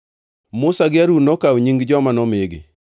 Musa gi Harun nokawo nying joma nomigi,